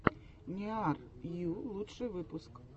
ниар йу лучший выпуск